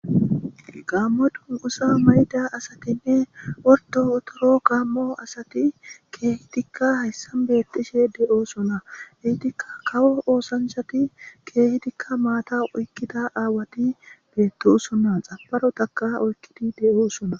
gammo dunqusa mayda asatinne worto wotoro gaammo asati keehi dikka hayssan beettishe de7oosona hiitikka kawo oosanchati keehi dikka maata oykkida aawati beettosona xaparo taka oykkidi de7oosona